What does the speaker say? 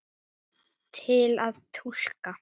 Til að túlka